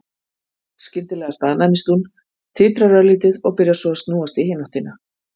Skyndilega staðnæmist hún, titrar örlítið og byrjar svo að snúast í hina áttina.